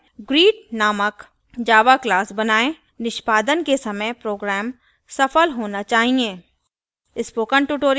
greet नामक java class बनाएं निष्पादन के समय program सफल होना चाहिए